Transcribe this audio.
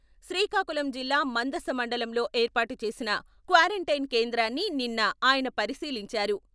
శ్రీకాకుళం జిల్లా మందస మండలం లో ఏర్పాటు చేసిన క్వారంటైన్ కేంద్రాన్ని నిన్న ఆయన పరిశీలించారు.